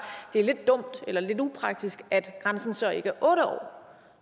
det er lidt dumt eller lidt upraktisk at grænsen så ikke er otte år